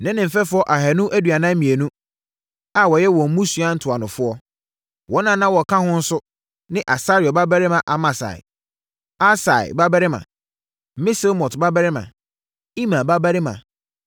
ne ne mfɛfoɔ ahanu aduanan mmienu (242) a wɔyɛ wɔn mmusua ntuanofoɔ. Wɔn a na wɔka ho nso ne Asarel babarima Amasai, Ahsai babarima, Mesilemot babarima, Imer babarima